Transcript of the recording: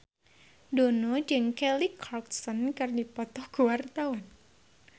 Dono jeung Kelly Clarkson keur dipoto ku wartawan